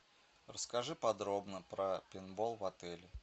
расскажи подробно про пейнтбол в отеле